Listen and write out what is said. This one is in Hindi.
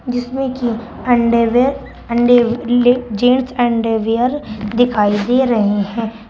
जिसमें की अंडरवियर अंदर जींस अंडरवियर दिखाई दे रहे हैं।